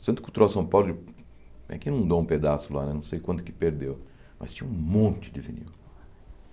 O Centro Cultural São Paulo, ele é que inundou um pedaço lá, não sei quanto que perdeu, mas tinha um monte de vinil.